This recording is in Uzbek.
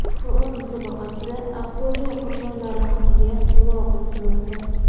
Qur’on musobaqasida Aqto‘be qurbonlari haqiga duo qilinmoqda.